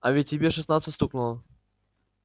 а ведь тебе шестнадцать стукнуло